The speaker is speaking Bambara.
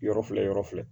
Yɔrɔ filɛ yɔrɔ filɛ